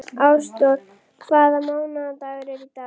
Ásdór, hvaða mánaðardagur er í dag?